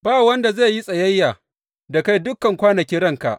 Ba wanda zai yi tsayayya da kai dukan kwanakin ranka.